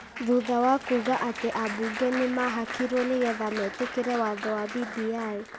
thutha wa kuuga atĩ ambunge nĩ mahakirwo nĩgetha mĩtĩkĩrie watho wa BBI.